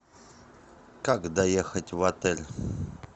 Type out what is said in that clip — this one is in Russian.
как доехать в отель